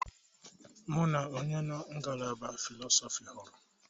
Mụ na onye nọ ngalaba Fịlọsọfi hụru.